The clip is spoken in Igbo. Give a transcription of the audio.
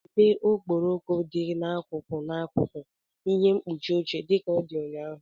Debe okporoko dị n'akụkụ n'akụkụ ihe mkpuchi oche dị ka ọ dị ụnyaahụ!